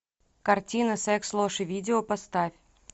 картина секс ложь и видео поставь